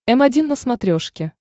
м один на смотрешке